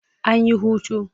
An yi hutu.